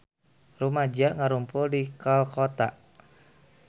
Rumaja ngarumpul di Kolkata